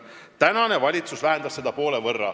Praegune valitsus vähendas seda poole võrra.